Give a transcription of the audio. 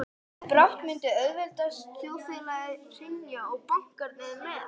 Brátt myndi auðvaldsþjóðfélagið hrynja og bankarnir með.